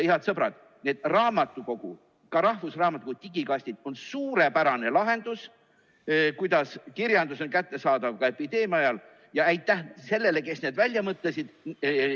Head sõbrad, need raamatukogude, ka rahvusraamatukogu digikastid on suurepärane lahendus, kuidas kirjandus on kättesaadav ka epideemia ajal, ja aitäh sellele, kes need välja mõtles.